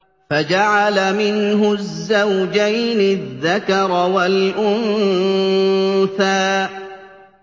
فَجَعَلَ مِنْهُ الزَّوْجَيْنِ الذَّكَرَ وَالْأُنثَىٰ